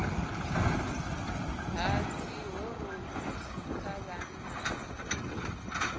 ha dzihormones kha vhanna na